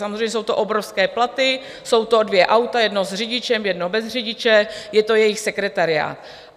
Samozřejmě jsou to obrovské platy, jsou to dvě auta - jedno s řidičem, jedno bez řidiče, je to jejich sekretariát.